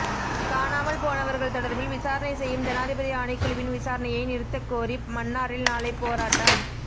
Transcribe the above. காணாமல் போனவர்கள் தொடர்பில் விசாரணை செய்யும் ஜனாதிபதி ஆணைக்குழுவின் விசாரணையை நிறுத்தக் கோரி மன்னாரில் நாளை போராட்டம்